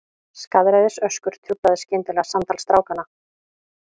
Skaðræðisöskur truflaði skyndilega samtal strákanna.